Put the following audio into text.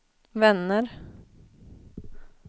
vänner